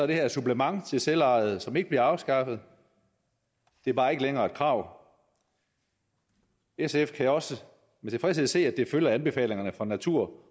det her et supplement til selvejet som ikke bliver afskaffet det er bare ikke længere et krav sf kan også med tilfredshed se at det følger anbefalingerne fra natur